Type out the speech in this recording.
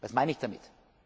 Was meine ich damit?